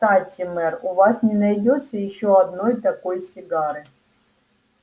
кстати мэр у вас не найдётся ещё одной такой сигары